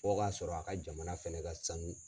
Fɔ o ka sɔrɔ a ka jamana fɛnɛ ka sanu.